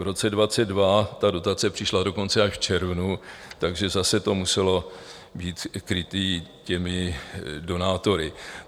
V roce 2022 ta dotace přišla dokonce až v červnu, takže zase to muselo být kryté těmi donátory.